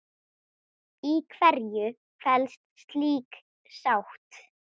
Í hverju felst slík sátt?